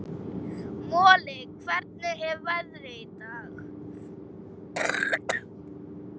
Moli, hvernig er veðrið í dag?